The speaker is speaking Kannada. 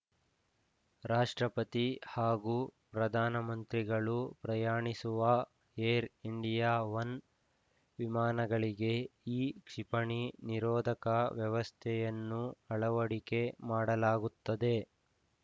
ರಾಷ್ಟ್ರಪತಿ ಹಾಗೂ ಪ್ರಧಾನಮಂತ್ರಿಗಳು ಪ್ರಯಾಣಿಸುವ ಏರ್‌ ಇಂಡಿಯಾ ಒನ್‌ ವಿಮಾನಗಳಿಗೆ ಈ ಕ್ಷಿಪಣಿ ನಿರೋಧಕ ವ್ಯವಸ್ಥೆಯನ್ನು ಅಳವಡಿಕೆ ಮಾಡಲಾಗುತ್ತದೆ